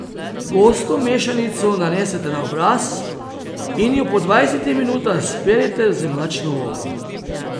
Gosto mešanico nanesite na obraz in jo po dvajsetih minutah sperite z mlačno vodo.